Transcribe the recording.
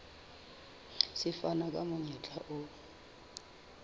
se fana ka monyetla o